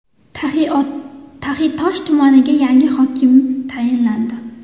Taxiatosh tumaniga yangi hokim tayinlandi.